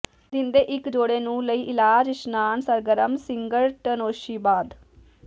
ਦਿਨ ਦੇ ਇੱਕ ਜੋੜੇ ਨੂੰ ਲਈ ਇਲਾਜ ਇਸ਼ਨਾਨ ਸਰਗਰਮ ਸਿਗਰਟਨੋਸ਼ੀ ਬਾਅਦ